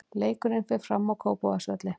Leikurinn fer fram á Kópavogsvelli.